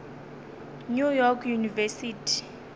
new york university